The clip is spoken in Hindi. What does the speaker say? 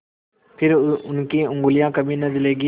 फिर उनकी उँगलियाँ कभी न जलेंगी